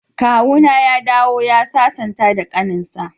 Kawuna ya dawo ya sasanta da kaninsa.